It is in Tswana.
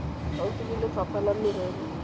gaufi ya lefapha la merero